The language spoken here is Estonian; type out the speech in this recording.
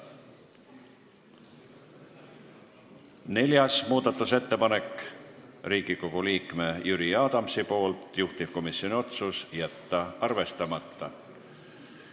Neljas muudatusettepanek Riigikogu liikmelt Jüri Adamsilt, juhtivkomisjoni otsus: jätta arvestamata.